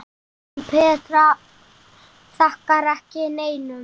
En Petra þakkar ekki neinum.